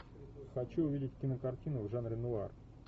хочу увидеть кинокартину в жанре нуар